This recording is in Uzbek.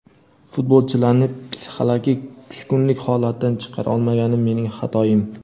Futbolchilarni psixologik tushkunlik holatidan chiqara olmaganim mening xatoim.